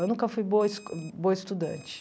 Eu nunca fui boa es boa estudante.